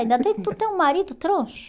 Ainda tem que tu ter um marido troncho.